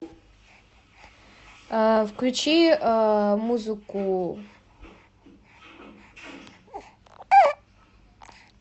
включи музыку